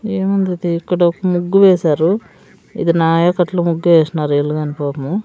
ఏముంది తీ ఇక్కడ ఒక ముగ్గువేసారు ఇది నాయాకట్ల ముగ్గేసినారు వీళ్ళుగాని పాపము--